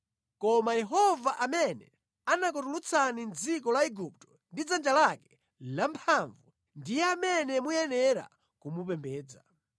Koma Yehova amene anakutulutsani mʼdziko la Igupto ndi dzanja lake lamphamvu ndiye amene muyenera kumupembedza.